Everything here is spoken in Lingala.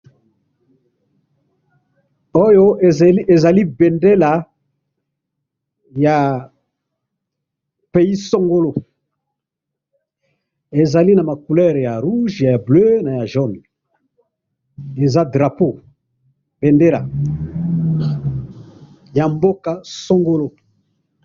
Awa ezali ezali bendela ya pay songolo, ezali naba couleurs ya rouge ya bleu Naya jaune, eza drapeau, bendela, yamboka songolo.